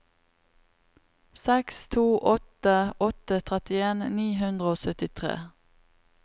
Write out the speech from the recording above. seks to åtte åtte trettien ni hundre og syttitre